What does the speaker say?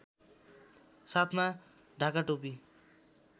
साथमा ढाकाटोपी